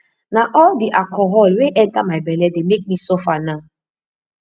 na all di alcohol wey enter my bele dey make me suffer now